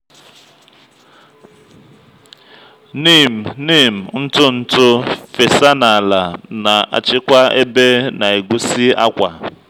neem neem ntụ ntụ fesa na ala na-achịkwa ebe na egusi akwa.